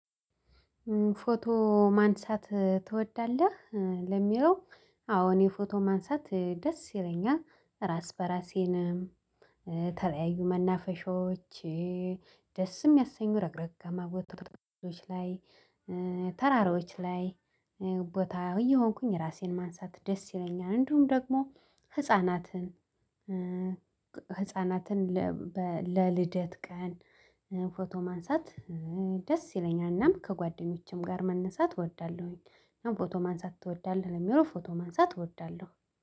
ፎቶ ማንሳት ትወዳለህ? ለሚለው አዎ እኔ ፎቶ ማንሳት ደስ ይለኛል። ራስ በራሴንም ተለያዩ መናፈሻዎች፣ ደስም የሚያሰኙ ረግረጋማ ቦታዎች ላይ ተራሮች ላይ ቦታ እየሆንኩኝ ራሴን ማንሳት ደስ ይለኛል። እንዲሁም ደግሞ ህፃናትን ህፃናትን ለ በ ለልደት ቀን ፎቶ ማንሳት ደስ ይለኛል እናም ከጓደኞችም ጋር መነሳት እወዳለሁኝ። እና ፎቶ ማንሳት ትወዳለህ ለሚለው ፎቶ ማንሳት እወዳለሁ።